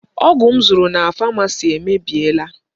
Ọgụ m zụtara na Pharmacy emebiela.